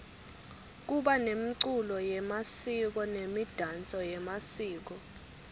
kuba nemculo yemasiko nemidanso yemasiko